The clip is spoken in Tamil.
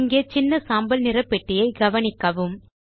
இங்கே சின்ன சாம்பல் நிற பெட்டியை கவனிக்கவும்